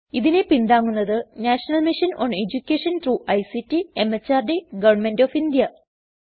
ഇതിനെ പിന്താങ്ങുന്നത് national mission on education through ICT MHRD government of India